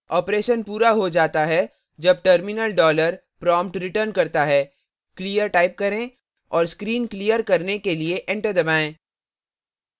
operation पूरा हो गया है जब terminal dollar prompt returns करता है clear type करें और screen clear करने के लिए enter दबाएं